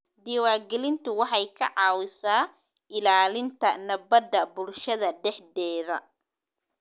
Diiwaangelintu waxay ka caawisaa ilaalinta nabadda bulshada dhexdeeda.